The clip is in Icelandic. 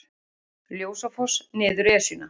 Ljósafoss niður Esjuna